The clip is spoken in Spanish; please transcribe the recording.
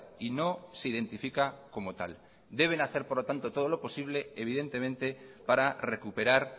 y no se identifica como tal deben hacer por lo tanto todo lo posible evidentemente para recuperar